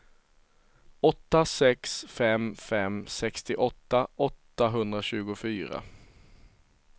åtta sex fem fem sextioåtta åttahundratjugofyra